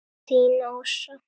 Þín Ása.